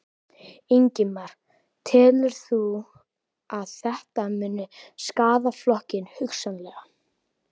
Ingimar: Telurðu að þetta muni skaða flokkinn, hugsanlega?